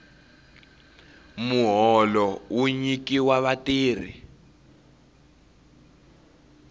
muholo wu nyikiwa vatirhi